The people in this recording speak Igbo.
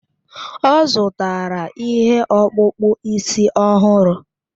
Ọ zụtara ihe ọkpụkpụ isi ọhụrụ